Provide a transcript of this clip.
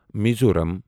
Mizoram